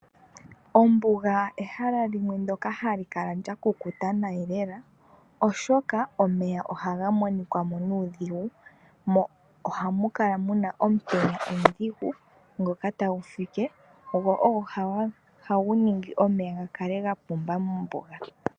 Ombuga ehala limwe ndyoka hali kala lyakukuta lela oshoka omeya ohaga monika kwamo nuudhigu mo ohamu kala muna omutenya omudhigu ngoka tagu fike go ogo ohagu ningi omeya gakale gapumba mombuga.